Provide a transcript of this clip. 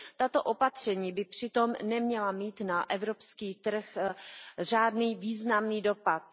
Tato opatření by přitom neměla mít na evropský trh žádný významný dopad.